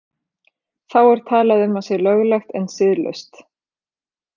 Þá er talað um að sé löglegt en siðlaust.